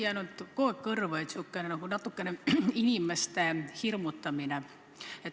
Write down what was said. Mulle on kuidagi kõrvu jäänud säärane natukene inimeste hirmutamine.